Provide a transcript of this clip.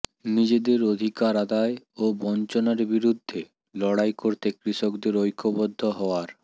নিজেদের অধিকার আদায় ও বঞ্চনার বিরুদ্ধে লড়াই করতে কৃষকদের ঐক্যবদ্ধ হওয়ার